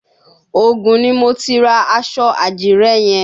Ògùn ni mo ti ra aṣọ àdìrẹ yẹn.